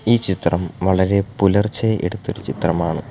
ഈ ചിത്രം വളരെ പുലർച്ചെ എടുത്തൊരു ചിത്രമാണ്.